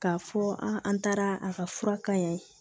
K'a fɔ an an taara a ka fura ka y'a ye